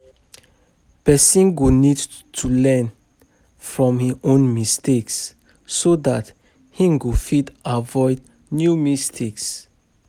Person go need to learn from im own mistakes so dat im go fit avoid new mistakes